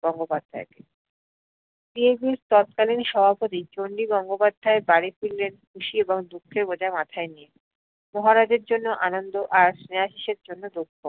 গঙ্গোপাধ্যায়কে। CAB র তৎকালীন সভাপতি চণ্ডী গঙ্গোপাধ্যায় বাড়ি ফিরলেন খুশি এবং দুঃখের বোঝা মাথাই নিয়ে। মহারাজের জন্য আনন্দ আর স্নেহাশিসের জন্য দুঃখ।